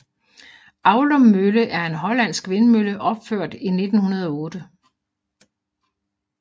Aulum Mølle er en hollandsk vindmølle opført i 1908